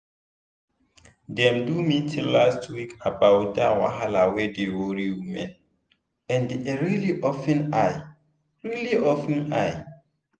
dem do meeting last week about that wahala wey dey worry women and e really open eye. really open eye.